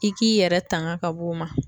I k'i yɛrɛ tanga ka bɔ o ma